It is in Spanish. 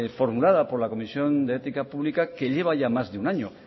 formulada por la comisión de ética pública que lleva ya más de un año